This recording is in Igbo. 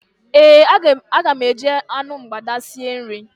Ee, aga m eji anụ mgbada sie nri.